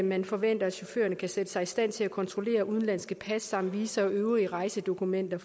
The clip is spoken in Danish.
man forventer at chaufførerne kan sætte sig i stand til at kontrollere udenlandske pas samt visa og øvrige rejsedokumenter